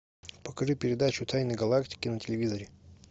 покажи передачу тайны галактики на телевизоре